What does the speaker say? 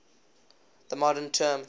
the modern term